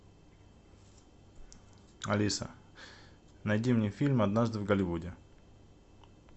алиса найди мне фильм однажды в голливуде